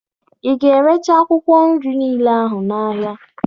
Ị ga-erecha akwụkwọ nri niile ahụ n'ahịa?